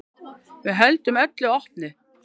Við höldum öllu opnu.